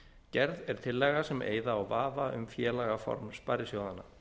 gerð er tillaga sem eyða á vafa um félagaform sparisjóðanna